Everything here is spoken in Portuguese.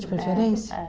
De preferência. É